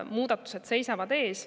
Muudatused seisavad ees.